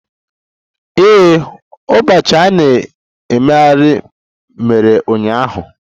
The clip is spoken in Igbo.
Ee, ụbọchị a na-emeghe mere ụnyaahụ